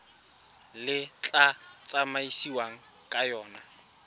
le tla tsamaisiwang ka yona